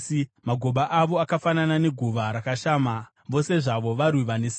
Magoba avo akafanana neguva rakashama; vose zvavo varwi vane simba.